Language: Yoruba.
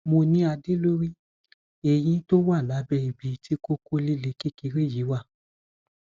mo ní adé lórí eyín tó wà lábẹ ibi tí kókó líle kékeré yìí wà